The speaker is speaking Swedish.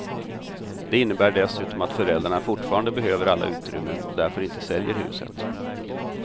Det innebär dessutom att föräldrarna fortfarande behöver alla utrymmen och därför inte säljer huset.